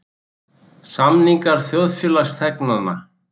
Samningar þjóðfélagsþegnanna.